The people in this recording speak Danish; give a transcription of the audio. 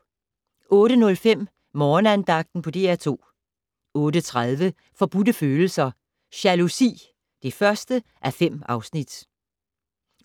08:05: Morgenandagten på DR2 08:30: Forbudte Følelser - Jalousi (1:5)